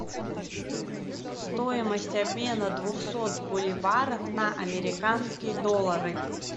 стоимость обмена двухсот боливаров на американские доллары